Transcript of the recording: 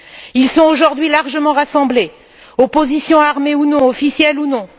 Ils sont aujourd'hui largement rassemblés, opposition armée ou non, officielle ou non.